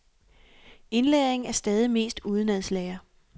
Indlæringen er stadig mest udenadslære.